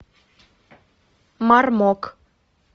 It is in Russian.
мармок